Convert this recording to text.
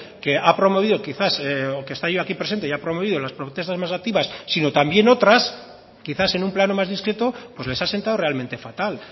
que ha promovido quizás o que esté hoy aquí presente haya promovido las protestas más activas sino también otras quizás en un plano más discreto pues les ha sentado realmente fatal